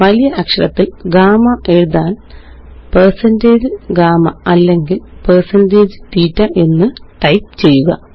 വലിയ അക്ഷരത്തില് ഗാമ എഴുതാന്160GAMMA അല്ലെങ്കില്160THETA എന്ന് ടൈപ്പ് ചെയ്യുക